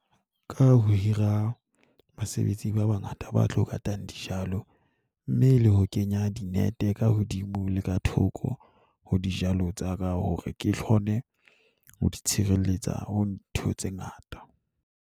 Ka ho hira basebetsi ba bangata ba tlo ho katang dijalo, mme e le ho kenya di-net ka hodimo la ka thoko ho dijalo tsa ka hore ke kgone ho di tshireletsa ho ntho tse ngata.